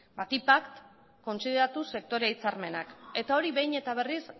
batipat kontsideratuz sektore hitzarmenak eta hori behin eta berriz